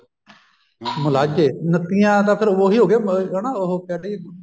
ਮੁਲਾਜੇ ਨੱਤੀਆ ਤਾਂ ਫ਼ੇਰ ਉਹੀ ਹੋ ਗਿਆ ਹਨਾ ਉਹ ਕਹਿੰਦੀ